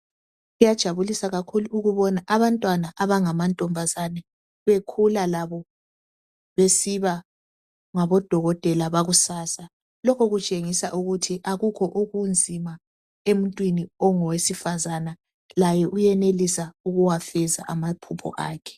Kuyajabulisa kakhulu ukubona abantwana abangamantombazana bekhula labo besiba ngabodokotela bakusasa. Lokho kutshengisa ukuba akukho okunzima emuntwini ongowesifazana laye uyenelisa ukuwafeza amaphupho akhe.